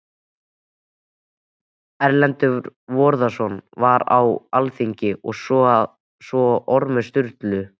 Erlendur Þorvarðarson var á alþingi, svo og Ormur Sturluson.